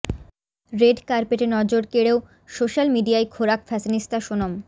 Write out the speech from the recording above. red কার্পেটে নজর কেড়েও সোশ্যাল মিডিয়ায় খোরাক ফ্যাশনিস্তা সোনম